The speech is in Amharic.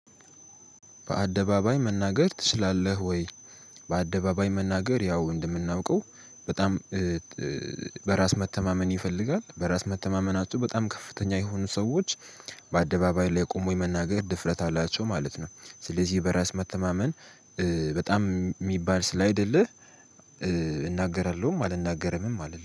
በአደባባይ መናገር ትችላለህ ወይ? በአደባባይ መናገር ያው እንደምናውቀው በጣም በራስ መተማመን ይፈልጋል በራስ መተማመናቸው በጣም ከፍተኛ የሆኑ ሰዎች በአደባባይ ላይ ቆሞ የመናገር ድፍረት አላቸው ማለት ነው። ስለዚህ በራስ መተማመን በጣም የሚባል ስላይደለ። እናገራለሁም አልናገረምም አልልም